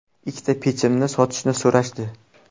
Ikkita pechimni sotishni so‘rashdi.